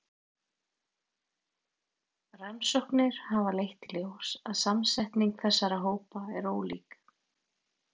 Rannsóknir hafa leitt í ljós að samsetning þessara hópa er ólík.